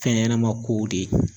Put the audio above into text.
Fɛn ɲɛnɛma kow de ye